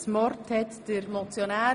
Das Wort hat der Motionär.